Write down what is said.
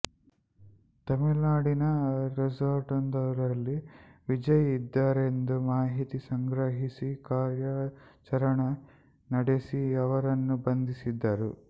ತಮಿಳುನಾಡಿನ ರೆಸಾರ್ಟ್ವೊಂದರಲ್ಲಿ ವಿಜಯ್ ಇದ್ದರೆಂದು ಮಾಹಿತಿ ಸಂಗ್ರಹಿಸಿ ಕಾರ್ಯಾಚರಣೆ ನಡೆಸಿ ಅವರನ್ನು ಬಂಧಿಸಿದರು